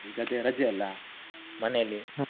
ಈಗ ಅದೇ ರಜೆ ಅಲ್ಲ, ಮನೇಲೆ.